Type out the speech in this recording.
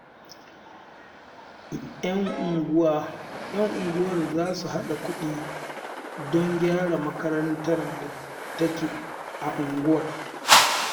Yan unguwar za su haɗa kuɗi don a gyara makarantar da take a unguwar